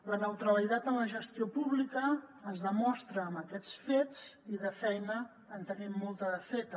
la neutralitat en la gestió pública es demostra amb aquests fets i de feina en tenim molta de feta